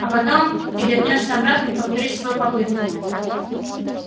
а потом ты вернёшься обратно и повторишь свою попытку